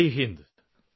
Jai Hind